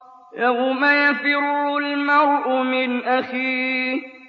يَوْمَ يَفِرُّ الْمَرْءُ مِنْ أَخِيهِ